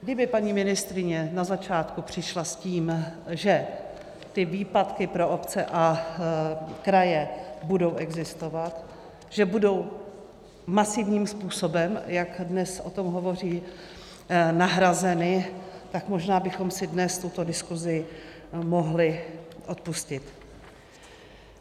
Kdyby paní ministryně na začátku přišla s tím, že ty výpadky pro obce a kraje budou existovat, že budou masivním způsobem, jak dnes o tom hovoří, nahrazeny, tak možná bychom si dnes tuto diskuzi mohli odpustit.